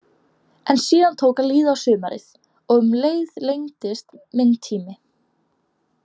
En síðan tók að líða á sumarið og um leið lengdist minn tími.